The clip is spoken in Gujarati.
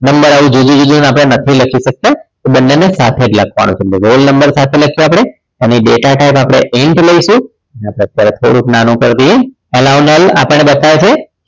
number આપણે જુદી જુદી નથી લખી શકતા તો બંનેને સાથે જ લખવાનું છે તો roll number સાથે લખીએ આપણે અને અને data type આપણે INT લઈશું તો અત્યારે આપણે થોડુંક નાનું કરીએ all-round આપણને બતાવે છે